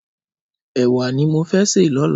Ẹwà ni mó fè sé lọ̀lá